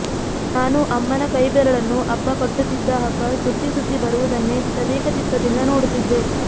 ನಾನು ಅಮ್ಮನ ಕೈಬೆರಳನ್ನು ಅಪ್ಪ ಕಟ್ಟುತ್ತಿದ್ದ ಹಗ್ಗ ಸುತ್ತಿ ಸುತ್ತಿ ಬರುವುದನ್ನೇ ತದೇಕಚಿತ್ತದಿಂದ ನೋಡುತ್ತಿದ್ದೆ